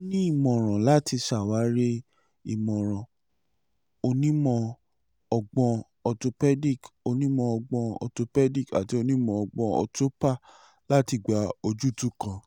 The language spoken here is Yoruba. o ni imọran lati ṣawari imọran onimọ-ọgbọn orthopaedic onimọ-ọgbọn orthopaedic ati onimọ-ọgbọn orthopa lati gba ojutu kan